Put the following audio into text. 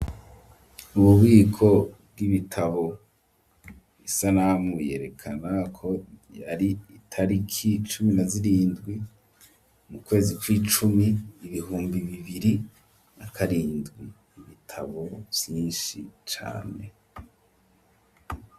Ububiko bw'ibitabo isanamu yerekana ko yari itariki cumi na zirindwi mu kwezi kw'icumi ibihumbi bibiri nakarindwi, ibitabo vyishi cane.